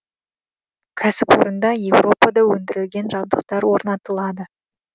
кәсіпорында еуропада өндірілген жабдықтар орнатылады